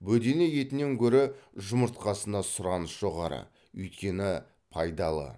бөдене етінен гөрі жұмыртқасына сұраныс жоғары өйткені пайдалы